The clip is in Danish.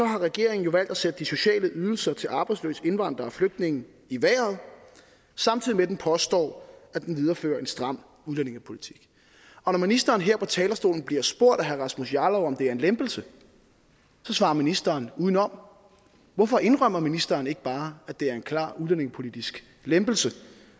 har regeringen jo valgt at sætte de sociale ydelser til arbejdsløse indvandrere og flygtninge i vejret samtidig med at den påstår at den viderefører en stram udlændingepolitik og når ministeren her på talerstolen bliver spurgt af herre rasmus jarlov om det er en lempelse så svarer ministeren udenom hvorfor indrømmer ministeren ikke bare at det er en klar udlændingepolitisk lempelse